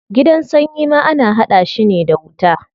Gidan sanyi ma ana hada shi ne da wuta.